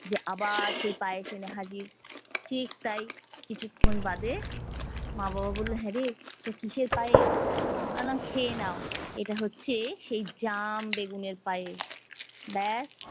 যে আবার সেই পায়েস এনে হাজির, ঠিক তাই। কিছুক্ষন বাদে মা বাবা বললো হ্যাঁরে এটা কিসের পায়েস? আমি বললাম খেয়ে নাও, এটা হচ্ছে সেই জাম বেগুনের পায়েস। ব্যাস